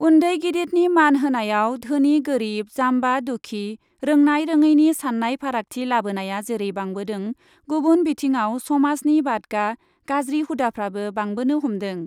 उन्दै गिदितनि मान होनायाव धोनि गोरिब, जाम्बा दुखि, रोंनाय रोङैनि सान्नाय फारागथि लाबोनाया जेरै बांबोदों गुबुन बिथिङाव समाजनि बादगा गाज्रि हुदाफ्राबो बांबोनो हमदों।